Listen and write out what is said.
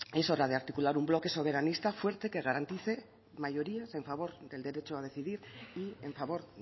es hora de articular un bloque soberanista fuerte que garantice mayorías en favor del derecho a decidir y en favor